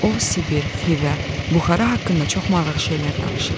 O Sibir, Xivə, Buxara haqqında çox maraqlı şeylər danışırdı.